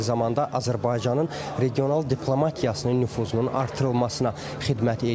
Eyni zamanda Azərbaycanın regional diplomatiyasının nüfuzunun artırılmasına xidmət eləyir.